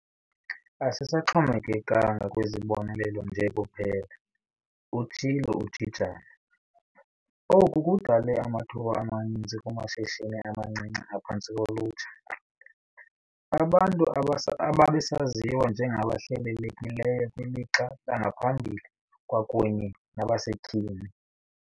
"Asisaxhomekekanga kwizibonelelo nje kuphela," utshilo uJijana. Oku kudale amathuba amaninzi kumashishini amancinci aphantsi kolutsha, abantu ababesaziwa njengabahlelelekileyo kwilixa langaphambili kwakunye nabasetyhini.